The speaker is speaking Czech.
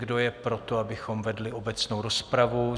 Kdo je pro to, abychom vedli obecnou rozpravu?